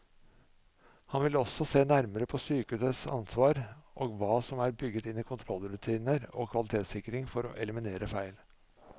Han vil også se nærmere på sykehusets ansvar og hva som er bygget inn i kontrollrutiner og kvalitetssikring for å eliminere feil.